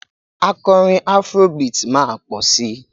Akọrin afro beat máa tó pọ̀ si